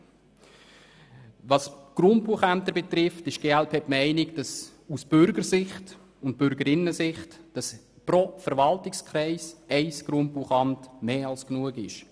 Betreffend die Grundbuchämter ist die glp der Meinung, dass aus Bürgerinnen- und Bürgersicht pro Verwaltungskreis ein Grundbuchamt mehr als genug ist.